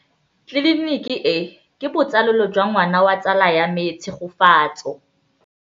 Tleliniki e, ke botsalêlô jwa ngwana wa tsala ya me Tshegofatso.